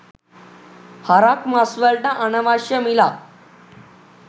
හරක් මස් වලට අනවශ්‍ය මිලක්